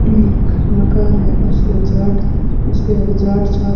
एक मकान है उस रिजॉर्ट उसके रिजॉर्ट साथ--